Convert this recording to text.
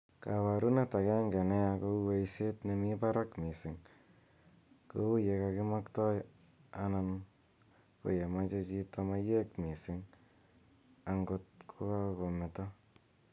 kaparunet agenge neya kou eiset nemi parak missing' kou ye kakimaktai anan ko mache chito maiyek missing angot kokakometo